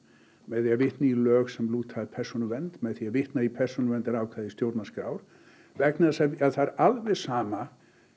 með því að vitna í lög sem lúta að persónuvernd með því að vitna í persónuverndarákvæði stjórnarskrár vegna þess að það er alveg sama